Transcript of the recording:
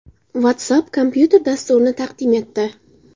WhatsApp kompyuter dasturini taqdim etdi.